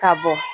Ka bɔ